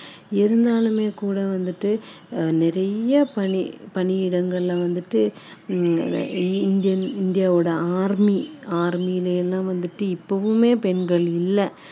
இந்த மாதிரி நிறைய ஆதரவு வந்துட்டு இப்போ நிறைய பேர் வந்துட்டு இந்த மாதிரி கொடுக்குறாங்க இது எல்லாமே ரொம்ப மகிழ்ச்சியான விஷயம் இருந்தாலுமே கூட வந்துட்டு நிறைய பணி